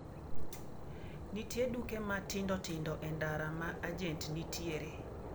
nitie duke matindo tindo e ndara ma agent nitiere